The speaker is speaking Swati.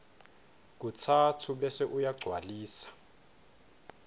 katsatfu bese uyagcwalisa